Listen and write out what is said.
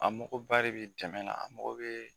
An mago ba de bɛ dɛmɛn na an mago bɛ